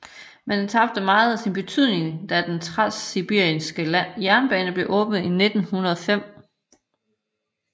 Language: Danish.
Men den tabte meget af sin betydning da den transsibiriske jernbane blev åbnet i 1905